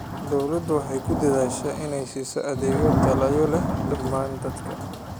Dawladdu waxay ku dadaashaa inay siiso adeegyo tayo leh dhammaan dadka.